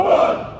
Hopp!